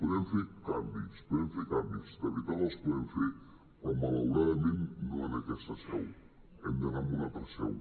podem fer canvis podem fer canvis de veritat els podem fer però malauradament no en aquesta seu hem d’anar a una altra seu